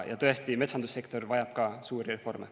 Ja tõesti, metsandussektor vajab ka suuri reforme.